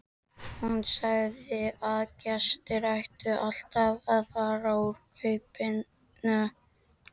Hún sagði að gestir ættu alltaf að fara úr kápunni.